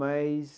Mas...